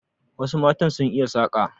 Wasu matan sun iya saƙa.